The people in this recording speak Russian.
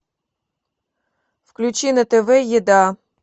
включи на тв еда